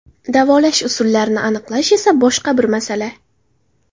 Davolash usullarini aniqlash esa boshqa bir masala.